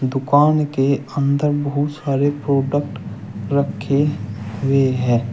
दुकान के अंदर बहुत सारे प्रोडक्ट रखे हुए है।